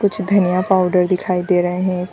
कुछ धनिया पाउडर दिखाई दे रहे हैं।